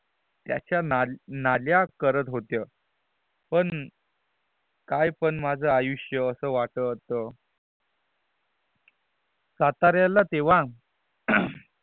त्याच्या ना नल्या करत होत पण काय पण माझ्या आयुष्य अस वाटत सातारयाला तेव्हा